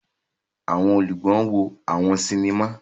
Awọn olùgbọ wo àwọn sinima.